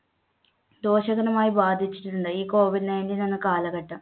ദോഷകരമായി ബാധിച്ചിട്ടുണ്ട് ഈ COVID nineteen എന്ന കാലഘട്ടം